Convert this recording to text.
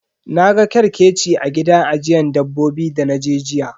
Na ga kerkeci a gida ajiyan dabbobi dana je jiya.